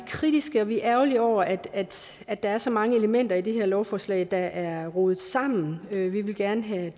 kritiske og vi er ærgerlige over at at der er så mange elementer i det her lovforslag der er rodet sammen vi vil gerne have